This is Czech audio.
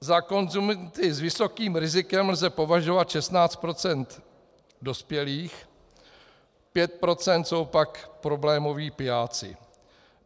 Za konzumenty s vysokým rizikem lze považovat 16 % dospělých, 5 % jsou pak problémoví pijáci.